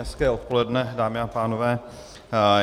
Hezké odpoledne, dámy a pánové.